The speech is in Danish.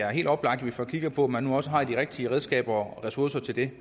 er helt oplagt at vi får kigget på om man nu også har de rigtige redskaber og ressourcer til det